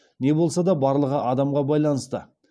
не болса да барлығы адамға байланысты